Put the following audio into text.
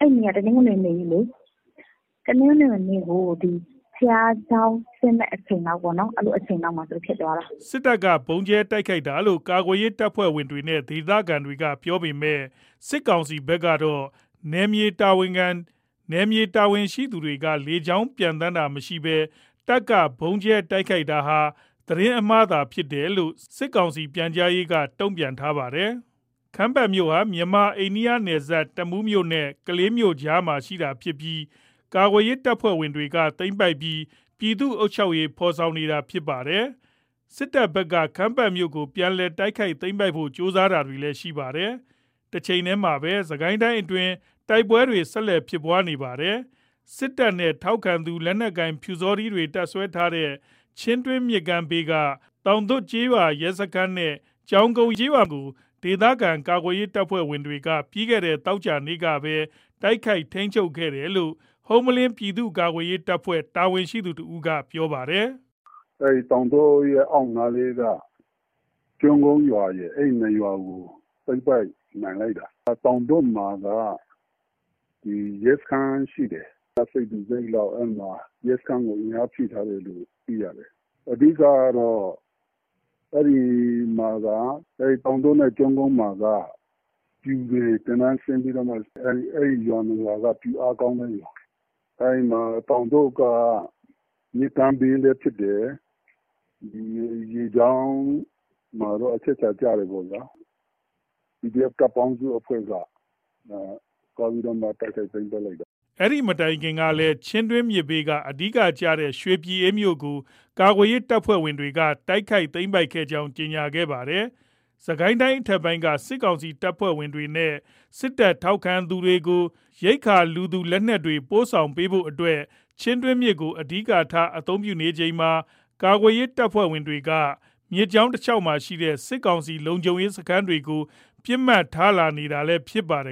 အဲ့နေ့က တနင်္ဂနွေနေ့ကြီးလေ တနင်္ဂနွေနေ့ကို ဘုရားကျောင်းဆင်းတဲ့အချိန်လောက်ပေါ့နော်။ အဲ့အချိန်လောက်မှာ ဖြစ်သွားတာ။” စစ်တပ်က ဗုံးကြဲတိုက်ခိုက်တာလို့ ကာကွယ်ရေး တပ်ဖွဲ့တွေနဲ့ ဒေသခံတွေ ပြောပေမယ့် စစ်ကောင်စီဘက်က နယ်မြေတာဝန်ရှိသူတွေက လေကြောင်း ပျံသန်းတာမရှိဘဲ တပ်က ဗုံးကြဲတိုက်ခိုက်တာဟာ သတင်းအမှားသာ ဖြစ်တတပ်လို့ စစ်ကောင်စီ ပြန်ကြားရေးက တုန့်ပြန်ထားပါတယ်။ ခမ်းပတ်မြို့ဟာ မြန်မာ အိန္ဒိယနယ်စပ် တမူးမြို့နဲ့ ကလေးမြို့ကြားမှာ ရှိတာဖြစ်ပြီး ကာကွယ်ရေးတပ်ဖွဲ့တွေက သိမ်းပိုက်ပြီး ပြည်သူ့အုပ်ချုပ်ရေးဖော်ဆောင်နေတာဖြစ်ပါတယ်။ စစ်တပ်ဘက်က ခမ်းပတ်မြို့ကို ပြန်လည် တိုက်ခိုက်သိမ်းပိုက်ဖို့ ကြိုးစားတာတွေလည်း ရှိပါတယ်။ တချိန်တည်းမှာပဲ စစ်ကိုင်းတိုင်းအတွင်း တိုက်ပွဲတွေ ဆက်လက် ဖြစ်ပွားနေတာပါ။ စစ်တပ်နဲ့ ထောက်ခံသူလက်နက်ကိုင် ပျူစောထီးတွေ တပ်စွဲထားတဲ့ ချင်းတွင်းမြစ်ဘေးက သောင်သွပ်ကျေးရွာ ရဲစခန်းနဲ့ ကျောင်းကုန်းကျေးရွာကို ဒေသခံ ကာကွယ်ရေးအဖွဲ့တွေက ပြီးခဲ့တဲ့ သောကြာနေ့ကပဲ တိုက်ခိုက် ထိန်းချုပ်နိုင်ခဲ့တယ်လို့လည်း ဟုမ္မလင်း ပြည်သူ့ကာကွယ်ရေး တပ်ဖွဲ့ တာဝန်ရှိသူ တဦးက ပြောပါတယ်။ “သောင်သွတ်ကျေးရွာရဲ့အောက်ဖက်နားက ကျောင်းကုန်းရွာရယ် အဲ့ ၂ ရွာကို သိမ်းပိုက်နိုင်လိုက်တာ။ သောင်သွပ်မှာက ရဲစခန်းရှိတယ်။ တပ်စိတ်တစိတ်လောင် ရဲစခန်းကို အင်အားဖြည့်ထားတယ်လို့ သိထားတယ်။ အဓိက က အဲ့မှာက သောင်သွပ်နဲ့ကျောင်းကုန်းမှာက ပျူတွေသင်တန်းဆင်းပြီးတော့ ပျူအားကောင်းတဲ့နေရာ သောင်သွပ်က မြစ်ကမ်းဘေးလည်းဖြစ်တယ်။ ရေကြောင်းမှာလည်း အချက်အခြာကျတယ်ပေါ့နော်။ PDF တပ်ပေါင်းစုက တိုက်ခိုက်သိမ်းပိုက်လိုက်တာ။” အဲ့ဒီမတိုင်ခင်ကလည်း ချင်းတွင်းမြစ်ဘေးက အဓိက ကျတဲ့ ရွှေပြည်အေးမြို့ကို ကာကွယ်ရေးတပ်ဖွဲ့တွေက တိုက်ခိုက် သိမ်းပိုက်ခဲ့ကြောင်း ကြေညာခဲ့တာပါ။ စစ်ကိုင်းတိုင်းအထက်ပိုင်းက စစ်ကောင်စီ တပ်ဖွဲ့ဝင်တွေနဲ့ စစ်တပ်ထောက်ခံသူတွေကို ရိက္ခာလူသူလက်နက်တွေ ပို့ဆောင်ဖို့အတွက် ချင်းတွင်းမြစ်ကို အဓိကထား အသုံးပြုနေချိန်မှာ ကာကွယ်ရေး တပ်ဖွဲ့တွေက မြစ်ကြောင်းတလျှောက်မှာရှိတဲ့ စစ်ကောင်စီ လုံခြုံရေးစခန်းတွေကို ပစ်မှတ်ထားလာနေတာလည်း ဖြစ်ပါတယ်